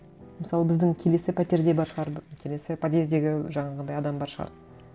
мысалы біздің келесі пәтерде бар шығар келесі подъездегі жаңағындай адам бар шығар